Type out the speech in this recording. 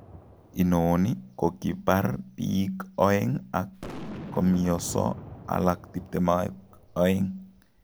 Inoni kokibar biik oeng' ak komiosoo alak tiptem ak oeng'